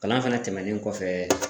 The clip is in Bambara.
Kalan fɛnɛ tɛmɛnen kɔfɛ